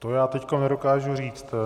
To já teď nedokážu říct.